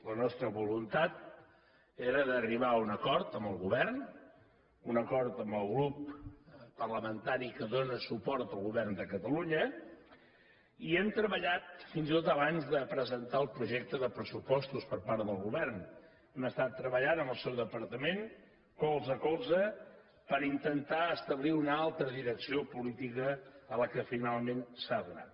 la nostra voluntat era d’arribar a un acord amb el govern un acord amb el grup parlamentari que dóna suport al govern de catalunya i hem treballat fins i tot abans de presentar el projecte de pressupostos per part del govern hem estat treballant amb el seu departament colze a colze per intentar establir una altra direcció política a la que finalment s’ha donat